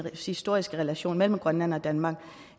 historiske relation mellem grønland og danmark